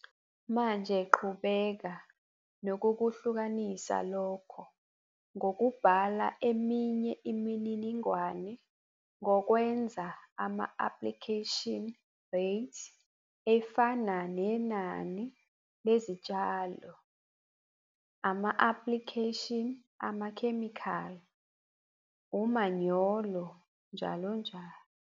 Manje qhubeka nokukuhlukanisa lokho ngokubhala eminye imininingwane ngokwenza ama - aplikheshini reythi efana nenani lezitshalo, ama-aplikheshini amakhemikhali, umanyolo njall.